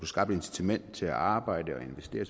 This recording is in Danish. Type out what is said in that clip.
skabt et incitament til at arbejde og investere